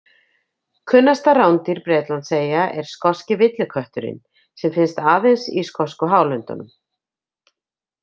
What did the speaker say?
Kunnasta rándýr Bretlandseyja er skoski villikötturinn sem finnst aðeins í skosku hálöndunum.